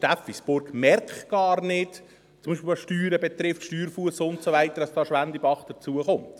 Steffisburg merkt gar nicht, beispielsweise was die Steuern betrifft, Steuerfuss und so weiter, dass Schwendibach hinzukommt.